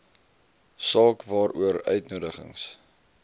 saak waaroor uitnodigings